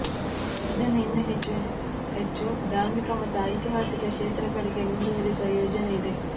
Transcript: ಇದನ್ನು ಇನ್ನೂ ಹೆಚ್ಚು ಹೆಚ್ಚು ಧಾರ್ಮಿಕ ಮತ್ತು ಐತಿಹಾಸಿಕ ಕ್ಷೇತ್ರಗಳಿಗೆ ಮುಂದುವರಿಸುವ ಯೋಜನೆಯಿದೆ